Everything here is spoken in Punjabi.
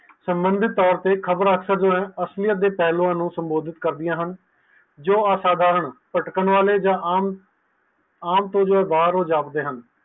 ਸੰਬੰਧਿਤ ਤੋਰ ਤੇ ਖ਼ਬਰਆ ਦੇ ਅਸਲੀਅਤ ਦੇ ਪੈਲਾਂ ਨੂੰ ਸੰਬੋਧਿਤ ਕਰਦਿਆਂ ਹਨ ਜੋ ਅਸਾਧਾਰਨ ਪਟਕੰਨ ਵਾਲੇ ਜਾ ਆਮ ਤੋਰ ਤੇ ਬਾਹਰ ਜਾਪਦੇ ਹਨ